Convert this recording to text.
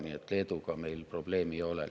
Nii et Leeduga meil probleeme ei ole.